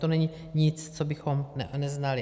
To není nic, co bychom neznali.